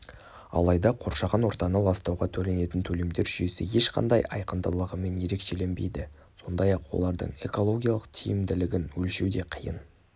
алайда қоршаған ортаны ластауға төленетін төлемдер жүйесі ешқандай айқындылығымен ерекшеленбейді сондай-ақ олардың экологиялық тиімділігін өлшеу де қиын